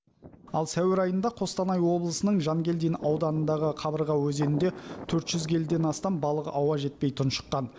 ал сәуір айында қостанай облысының жангелдин ауданындағы қабырға өзенінде төрт жүз келіден астам балық ауа жетпей тұншыққан